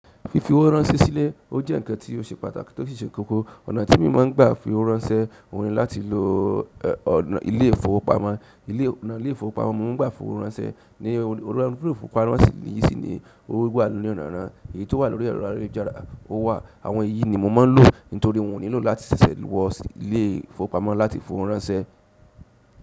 Fi fowó ránṣẹ́ sílẹ̀, ó jẹ nǹkan ti o ṣe pàtàkì tó sì ṣẹ kókó. Ọ̀nà ti mo máa n gba fi owó ránṣẹ́, oun ni láti lo ilé ìfowópamọ́. Ile ìfowópamọ́ mò ń gbà fi owó ránṣẹ́, ni ìfowópamọ́ yi si ni owo wà ní onírànran, èyí ti o wa lórí ẹrọ ayélujára, ó wà. Àwọn èyí ni mò má n lò nítorí wọn ò nílò láti ṣẹ̀ṣẹ̀ wọ ilé ìfowópamọ́ láti fi owó ránṣẹ́.